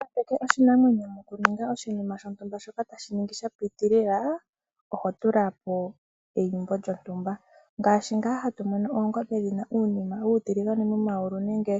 Opo wungambeke oshinamwenyo mokuninga oshinima shontumba shoka tashiningwa shapitilila , Oho tulapo eyimbo lyontumba ngashi nga hatumono oongombe dhina uunima uutiligane wuli momayulu nenge